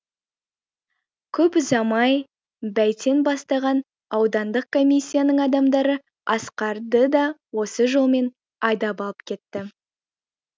көп ұзамай бәйтен бастаған аудандық комиссияның адамдары асқарды да осы жолмен айдап алып кетті